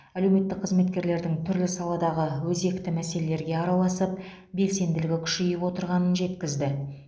әлеуметтік қызметкерлердің түрлі саладағы өзекті мәселелерге араласып белсенділігі күшейіп отырғанын жеткізді